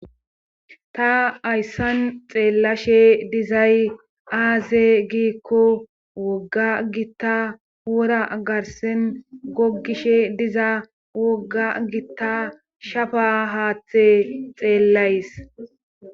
ta ayssan xeellashe dizay aaze giikko wogga gitta wora garsen gogishe diza wogga gitta shafa haathe xeellays